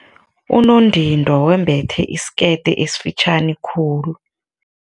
Unondindwa wembethe isikete esifitjhani khulu.